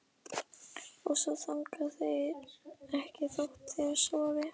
Og svo þagna þeir ekki þótt þeir sofi.